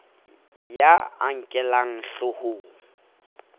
ya a a nkellang hloohong